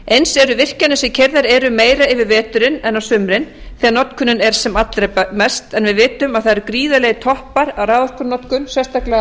eins eru virkjanir sem keyrðar eru meira yfir veturinn en á sumrin þegar notkunin er sem allra mest en við vitum að það eru gríðarlegir toppar á raforkunotkun sérstaklega á